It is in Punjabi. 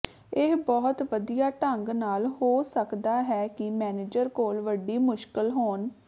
ਇਹ ਬਹੁਤ ਵਧੀਆ ਢੰਗ ਨਾਲ ਹੋ ਸਕਦਾ ਹੈ ਕਿ ਮੈਨੇਜਰ ਕੋਲ ਵੱਡੀ ਮੁਸ਼ਕਲ ਹੋਣ